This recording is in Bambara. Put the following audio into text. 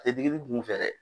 A tɛ digi digi kun fɛ dɛ.